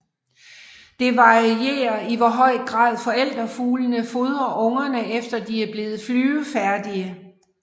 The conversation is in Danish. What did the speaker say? Det varierer i hvor høj grad forældrefuglene fodrer ungerne efter de er blevet flyvefærdige